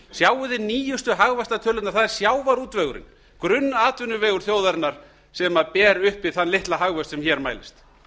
sjáið nýjustu hagvaxtartölurnar það er sjávarútvegurinn grunnatvinnuvegur þjóðarinnar sem ber uppi þann litla hagvöxt sem hér mælist